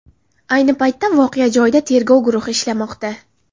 Ayni paytda voqea joyida tergov guruhi ishlamoqda.